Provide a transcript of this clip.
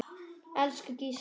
Elsku Gísli okkar.